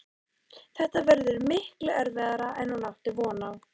Þetta verður miklu erfiðara en hún átti von á.